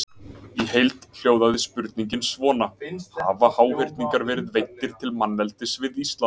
Í heild hljóðaði spurningin svona: Hafa háhyrningar verið veiddir til manneldis við Ísland?